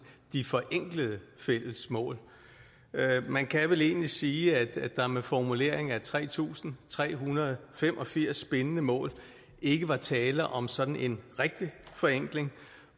de forenklede fælles mål man kan vel egentlig sige at der med formuleringen af tre tusind tre hundrede og fem og firs bindende mål ikke var tale om sådan en rigtig forenkling